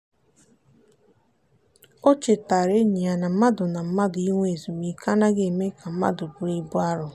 o chetaara enyi ya na mmadụ na mmadụ inwe ezumike anaghị eme ka mmadụ bụrụ ibu arọ.